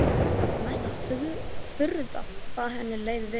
Það var mesta furða hvað henni leið vel.